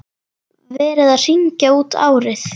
Verið að hringja út árið.